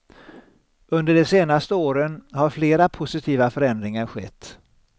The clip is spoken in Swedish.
Under de senaste åren har flera positiva förändringar skett.